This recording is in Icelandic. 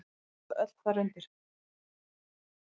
Þau falla öll þar undir.